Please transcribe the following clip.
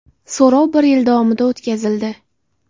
So‘rov bir yil davomida o‘tkazildi.